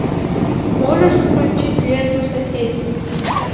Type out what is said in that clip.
можешь включить ленту соседи